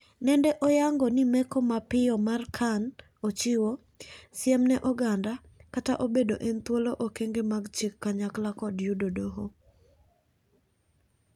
Nende oyango ni meko mapiyo mar Khan ochiwo "siem ne oganda " kata obedo en thuolo okenge mag chik kanyakla kod doho.